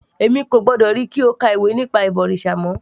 Èmi kò gbọ́dọ̀ ríi kí o ka ìwé nípa ìbọ̀rìṣà mọ́